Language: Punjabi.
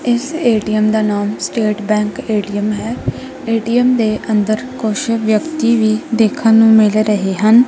ਇਸ ਏ_ਟੀ_ਐਮ ਦਾ ਨਾਮ ਸਟੇਟ ਬੈਂਕ ਏ_ਟੀ_ਐਮ ਹੈ। ਏ_ਟੀ_ਐਮ ਦੇ ਅੰਦਰ ਕੁਛ ਵਿਅਕਤੀ ਵੀ ਦੇਖਣ ਨੂੰ ਮਿਲ ਰਹੇ ਹਨ।